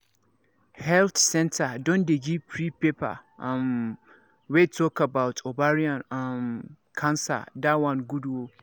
health centre don dey give free paper um wey talk about ovarian um cancer that one good ooo